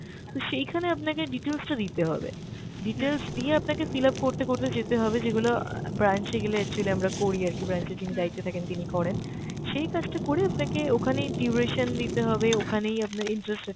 তো সেইখানে আপনাকে details টা দিতে হবে। details দিয়ে আপনাকে fil up করতে করতে যেতে হবে যেগুলো অ্যাঁ branch এ গেলে actually আমরা করি আরকি, branch এ যিনি দায়িত্বে থাকেন তিনি করেন। সেই কাজটা করে আপনাকে ওখানেই duration দিতে হবে, ওখানেই আপনার interest rate